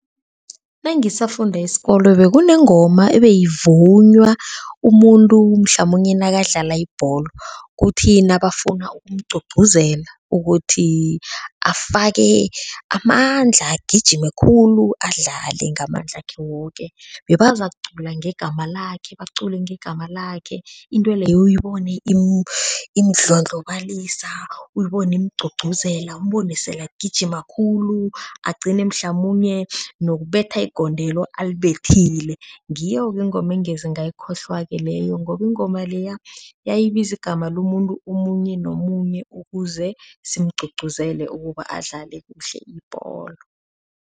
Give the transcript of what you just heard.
Nangisafunda isikolo bekunengoma ebeyivunywa umuntu mhlamunye nakadlala ibholo kuthi nabafuna ukumgcugcuzela ukuthi afake amandla agijime khulu adlale ngamandlakhe woke bebazakucula ngegama lakhe, bacule ngegama lakhe, intweleyo uyibone imudlondlobalisa, uyibone imugcgcuzela, umbone sele agijima khulu, agcine mhlamunye nokubetha igondelo alibethile, ngiyo-ke ingoma engeze ngayikhohlwa-ke leyo ngoba ingoma leya bayibiza igama lomuntu omunye nomunye ukuze simugcugcuzela ukuze adlale kuhle ibholo.